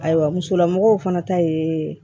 Ayiwa musolamɔgɔw fana ta ye